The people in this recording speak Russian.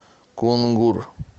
кунгур